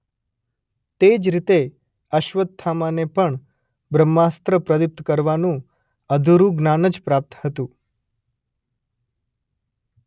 તેજ રીતે અશ્વત્થામાને પણ બ્રહ્માસ્ત્ર પ્રદીપ્ત કરવાનું અધુરું જ્ઞાન જ પ્રાપ્ત હતું.